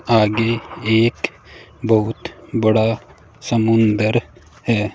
आगे एक बहुत बड़ा समुंदर है।